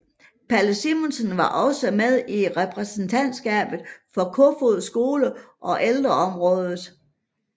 Palle Simonsen var også med i Repræsentantskabet for Kofoeds Skole og Ældreboligrådet